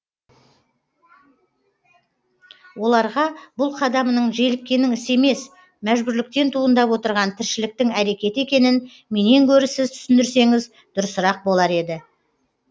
оларға бұл қадамымның желіккеннің ісі емес мәжбүрліктен туындап отырған тіршіліктің әрекеті екенін менен гөрі сіз түсіндірсеңіз дұрысырақ болар еді